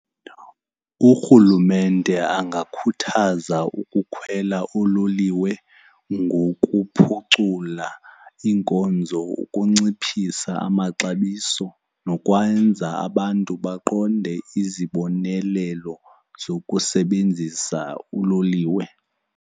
Urhulumente angakhuthaza ukukhwela oololiwe ngokuphucula iinkonzo ukunciphisa amaxabiso nokwenza abantu baqonde izibonelelo zokusebenzisa uloliwe.